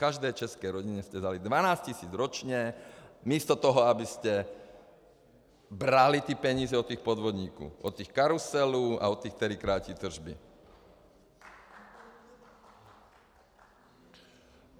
Každé české rodině jste vzali dvanáct tisíc ročně místo toho, abyste brali ty peníze od těch podvodníků, od těch karuselů a od těch, kteří krátí tržby.